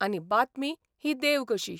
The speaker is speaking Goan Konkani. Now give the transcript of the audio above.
आनी बातमी ही देव कशी.